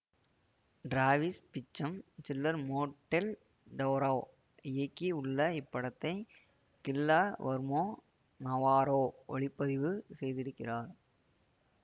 Travis Beacham Guillermo del Toro இயக்கி உள்ள இப்படத்தை கில்ல வர்மோ நவாரோ ஒளிப்பதிவு செய்திருக்கிறார்